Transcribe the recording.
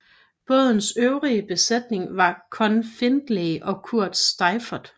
Bådens øvrige besætning var Conn Findlay og Kurt Seiffert